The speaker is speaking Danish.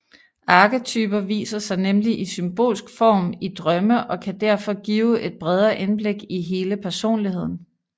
Arketyper viser sig nemlig i symbolsk form i drømme og kan derfor give et bredere indblik i hele personligheden